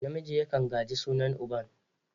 Namiji yakan gaji sunan uban.